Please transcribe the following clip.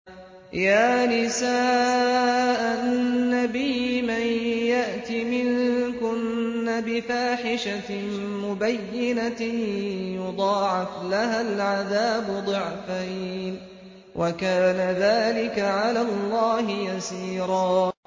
يَا نِسَاءَ النَّبِيِّ مَن يَأْتِ مِنكُنَّ بِفَاحِشَةٍ مُّبَيِّنَةٍ يُضَاعَفْ لَهَا الْعَذَابُ ضِعْفَيْنِ ۚ وَكَانَ ذَٰلِكَ عَلَى اللَّهِ يَسِيرًا